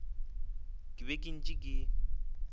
ke be ke ntše ke